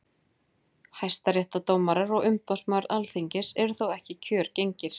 Hæstaréttardómarar og umboðsmaður Alþingis eru þó ekki kjörgengir.